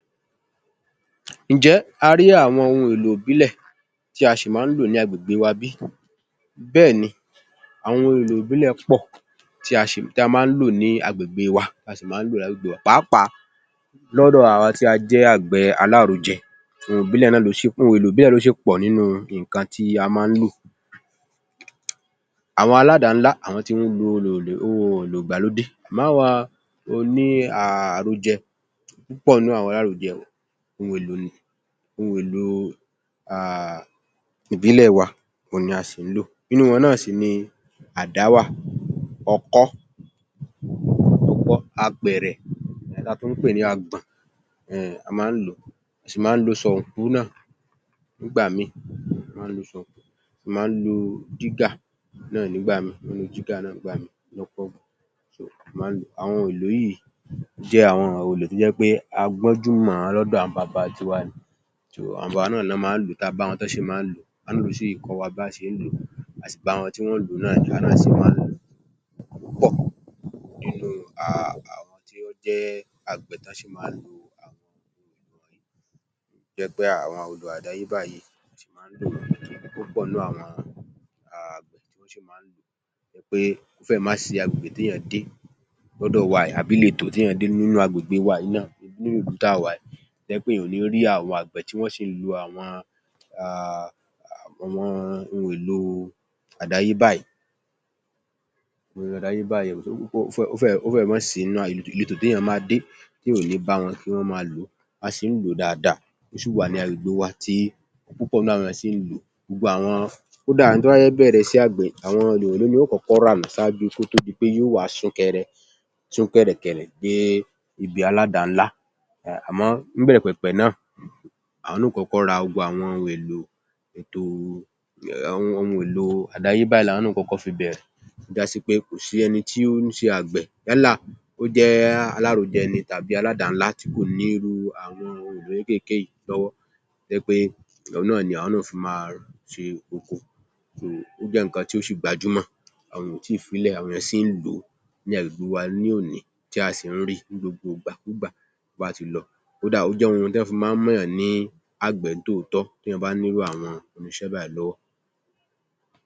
Ǹjẹ́ a rí àwọn ohun èlò ìbílẹ̀ tí a ṣì máa ń lò ní agbègbè wa bí? Bẹ́ẹ̀ ni. Àwọn ohun èlò ìbílẹ̀ pọ̀ tí a ṣì máa ń lò ní agbègbè wà, tí a máa ń lò ní agbègbè wà. Pàápàá, lọ́dọ̀ àwa tí a jẹ́ àgbẹ̀ alárojẹ ohun èlò ìbílẹ̀ náà ló ṣì ohun èlò ìbílẹ̀ náà ló ṣì pọ̀ nínú nǹkan tí a máa ń lò. Àwọn aládàá-ńlá àwọn ti ń lo ohun èlò ìgbàlódè. Àmọ́ àwa oní haa àrojẹ púpọ̀ nínú àwọn alárojẹ ohun èlò ni ohun èlò ni haa ìbílẹ̀ wa òhun a sì ń lò. Nínú wọn náà sì ni àdá wà, ọkọ́, apẹ̀rẹ̀ èyí tí a tún ń pè ní agbọ̀n ehnn a máa ń lò ó. A sì mán ń lo sọ̀ǹgú náà nígbà míì a sì mán ń lo sọ̀ǹgú. A mán ń lo jígà náà nígbà míì, ọ́ ń lo jígà náà nígbà míì. Àwọn èlò yìí jẹ́ àwọn ohun èlò tó jẹ́ pé a gbọ́njú mọ̀-ọ́n lọ́dọ̀ àwọn baba tiwa. Àwọn baba wa náà lọ mán ń lò ó, a bá wọn tọ́ ṣe mán ń lò ó; wọ́n sì kọ́ wa ba ṣe ń lò ó. A sì bá wọn tí wọ́n ń lò ó náà ni. Àwa náà sì wá ń lò ó. Púpọ̀ nínú haa tí wọ́n jẹ́ àgbẹ̀ tọ́ ṣì máa ń lò ó, tó jẹ́ pé àwọn odò àdáyébá yìí tí wọ́n máa ń lò. Púpọ̀ nínú àwọn wọn haa ṣì máa ń lò ó torí pé ó fẹ́ẹ̀ má sìí agbègbè téèyàn máa dé lọ́dọ̀ wa yìí tàbí iletò téèyàn dé nínú agbègbè wa yìí náà nínú ìlú tá a wà yìí tó jẹ́ wí pé èèyàñ ò ní rí àwọn àgbẹ̀ tí wọ́n ṣì ń lo àwọn haa ohun èlò àdáyébá yìí ó fẹ́ẹ̀ má sì í ìletò téèyàn máa dé téèyàn ò ní bá wọn tí wọ́n á máa lò ó. A ṣì nh lò ó dáadáa. Ó ṣì wà ní agbègbè wa tí púpọ̀ nínú àwọn ènìyàn ṣì ń lò ó. Gbogbo àwọn kódà ẹni tó fẹ́ bẹ̀rẹ̀ iṣẹ́ àgbẹ̀ òhun yó kọ́kọ́ rà ṣáájú kó tó di pé yóò wá sún kẹ̀rẹ̀kẹ̀rẹ̀ dé ibi aládàá-ńlá. Àmọ́ ní ìbẹ̀rẹ̀pẹ̀pẹ̀ náà àwọn ó kọ́kọ́ ra gbogbo ohun èlò àdáyébá làwọn náà ó kọ́kọ́ fi bẹ̀rẹ̀. Ó já sí pé kò sí ẹni tí ó ń ṣe àgbẹ̀ yálà ó jẹ́ alárojẹ ni tàbí aládàá-ńlá tí kò nírú àwọn ohun èlò kéékéèké yìí lówọ́ tó jẹ́ wí pé òhun náà ni àwọn náà ó fi máa fi ro oko. Ó jẹ́ nǹkan tó sì gbajúmọ̀, àwọn èèyàn ò tíì fi í lẹ̀; àwọn èèyàn ṣì ń lò ó nih agbègbè wa ní òní tí a sì ń rí i ní gbogbo gbàkúùgbà tó bá ti lọ. Kódà ó jẹ́ ohun tọ́ fi máa ń mọ̀yàn ní àgbẹ̀ nih tòótọ́ téèyàn bá ní irú àwọn irinṣẹ́ báyìí lọ́wọ́.